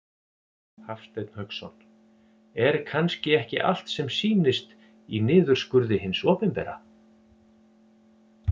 Hafsteinn Hauksson: Er kannski ekki allt sem sýnist í niðurskurði hins opinbera?